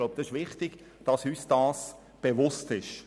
Ich glaube, es ist wichtig, uns dessen bewusst zu sein.